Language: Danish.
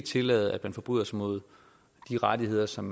tillade at man forbryder sig mod de rettigheder som